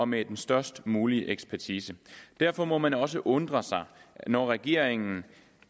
med den størst mulige ekspertise derfor må man også undre sig når regeringen